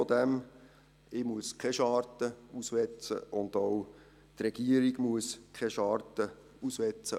Ich muss keine Scharte auswetzen, und auch die Regierung muss keine Scharte auswetzen.